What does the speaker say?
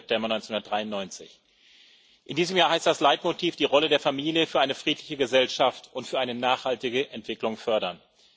20. September 1993. In diesem Jahr heißt das Leitmotiv Die Rolle der Familie für eine friedliche Gesellschaft und für eine nachhaltige Entwicklung fördern.